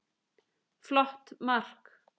Flott mark.